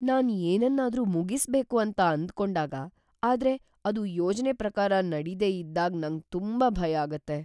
ನಾನ್ ಏನನ್ನಾದರೂ ಮುಗಿಸ್ಬೇಕು ಅಂತ ಆಂದಕೊಂಡಾಗ ಆದ್ರೆ ಅದು ಯೋಜನೆ ಪ್ರಕಾರ ನಡಿದೆ ಇದ್ದಾಗ್ ನಂಗ್ ತುಂಬಾ ಭಯ ಆಗುತ್ತೆ.